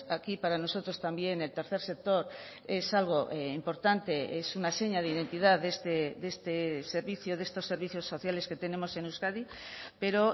aquí para nosotros también el tercer sector es algo importante es una seña de identidad de este servicio de estos servicios sociales que tenemos en euskadi pero